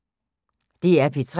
DR P3